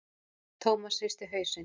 Thomas hristi hausinn.